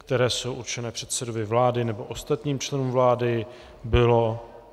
které jsou určené předsedovi vlády nebo ostatním členům vlády.